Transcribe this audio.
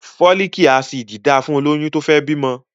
Fólíkì Ásíìdì dáa fún obìnrin tó fẹ́ bímọ